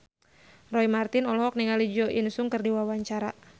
Roy Marten olohok ningali Jo In Sung keur diwawancara